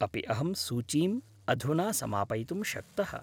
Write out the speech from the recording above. अपि अहं सूचीम् अधुना समापयितुं शक्तः?